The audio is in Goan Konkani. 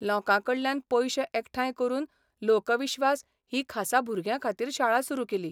लोकांकडल्यान पयशे एकठांय करून लोकविश्वास ही खासा भुरग्यांखातीर शाळा सुरू केली.